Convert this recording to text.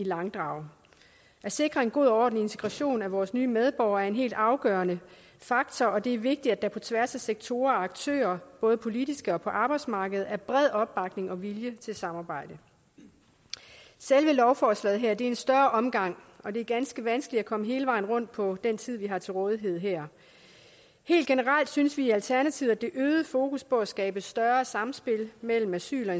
i langdrag at sikre en god og ordentlig integration af vores nye medborgere er en helt afgørende faktor og det er vigtigt at der på tværs af sektorer og aktører både politiske og på arbejdsmarkedet er bred opbakning og vilje til samarbejde selve lovforslaget her er en større omgang og det er ganske vanskeligt at komme hele vejen rundt på den tid vi har til rådighed her helt generelt synes vi i alternativet at det øgede fokus på at skabe større samspil mellem asyl og